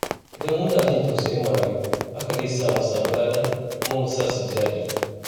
Idan muna jin tausayin marayu, hakan zai sa mu samu lada kuma mu sa su ji daɗi.